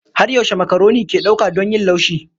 Har yaushe makaroni ke ɗauka don yin laushi?